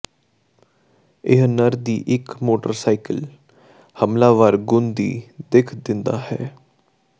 ਇਹ ਨਰ ਦੀ ਇੱਕ ਮੋਟਰਸਾਈਕਲ ਹਮਲਾਵਰ ਗੁਣ ਦੀ ਦਿੱਖ ਦਿੰਦਾ ਹੈ